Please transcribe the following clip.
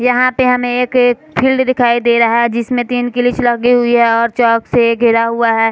यहाँ पे हमें एक फील्ड दिखाई दे रहा जिसमे तीन गिलिच लगी हुई है और चॉक से घेरा हुआ है।